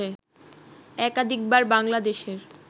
একাধিকবার বাংলা দেশের